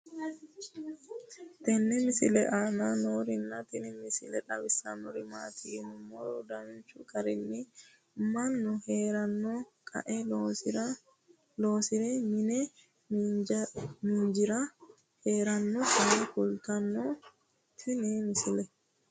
tenne misile aana noorina tini misile xawissannori maati yinummoro danchu garinni mannu heeranno qae loosire mi'nne miinjjire heerannotta kulittanno tinni misile